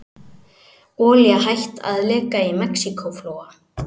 Olía hætt að leka í Mexíkóflóa